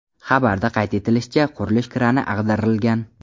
Xabarda qayd etilishicha, qurilish krani ag‘darilgan.